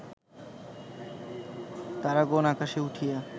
তারাগণ আকাশে উঠিয়া